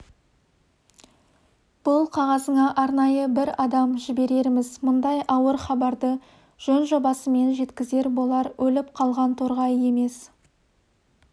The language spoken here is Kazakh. бұл қағазыңа арнайы бір адам жіберерміз мұндай ауыр хабарды жөн-жобасымен жеткізер болар өліп қалған торғай емес